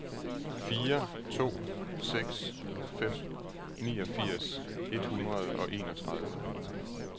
fire to seks fem niogfirs et hundrede og enogtredive